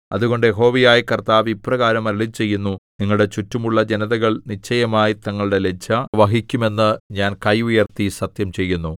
അതുകൊണ്ട് യഹോവയായ കർത്താവ് ഇപ്രകാരം അരുളിച്ചെയ്യുന്നു നിങ്ങളുടെ ചുറ്റുമുള്ള ജനതകൾ നിശ്ചയമായി തങ്ങളുടെ ലജ്ജ വഹിക്കും എന്ന് ഞാൻ കൈ ഉയർത്തി സത്യം ചെയ്യുന്നു